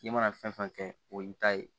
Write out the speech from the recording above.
I mana fɛn fɛn kɛ o y'i ta ye